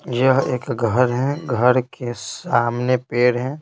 यह एक घर है घर के सामने पेड़ है।